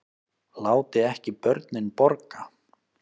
Láti ekki börnin borga